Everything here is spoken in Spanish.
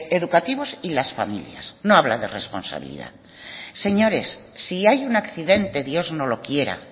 educativos y las familias no habla de responsabilidad señores si hay un accidente dios no lo quiera